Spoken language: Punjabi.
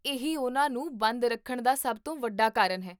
ਇਹੀ ਉਹਨਾਂ ਨੂੰ ਬੰਦ ਰੱਖਣ ਦਾ ਸਭ ਤੋਂ ਵੱਡਾ ਕਾਰਨ ਹੈ!